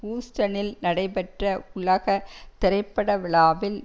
ஹூஸ்டனில் நடைபெற்ற உலக திரைப்பட விழாவில்